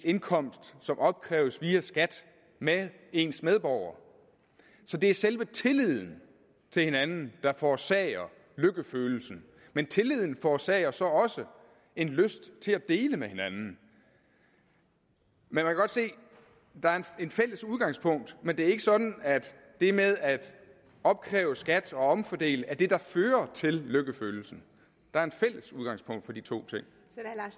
indkomst som opkræves via skat med ens medborgere så det er selve tilliden til hinanden der forårsager lykkefølelsen men tilliden forårsager så også en lyst til at dele med hinanden man kan godt se at der er et fælles udgangspunkt men det er ikke sådan at det med at opkræve skat og omfordele er det der fører til lykkefølelsen der er et fælles udgangspunkt for de to